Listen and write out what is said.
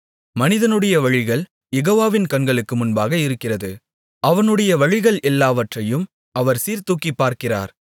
மனிதனுடைய வழிகள் யெகோவாவின் கண்களுக்கு முன்பாக இருக்கிறது அவனுடைய வழிகள் எல்லாவற்றையும் அவர் சீர்தூக்கிப்பார்க்கிறார்